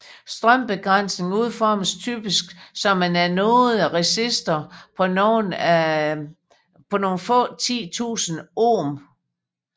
Strømbegrænsning udformes typisk som en anode resistor på nogle få 10 tusinde ohm